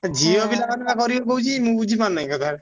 ଝିଅ ପିଲା ମାନେ କରିବେ କହୁଛି ମୁଁ ବୁଝିପାରୁ ନାଇଁ କଥାଟା।